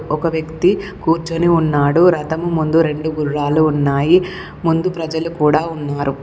ఒక వ్యక్తి కూర్చొని ఉన్నాడు రథము ముందు రెండు గుర్రాలు ఉన్నాయి ముందు ప్రజలు కూడా ఉన్నారు.